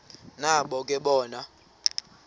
nabo ke bona